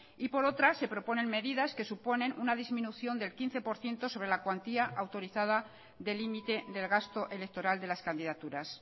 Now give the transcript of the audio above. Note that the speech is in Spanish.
y por otra se proponen medidas que suponen una disminución del quince por ciento sobre la cuantía autorizada de límite del gasto electoral de las candidaturas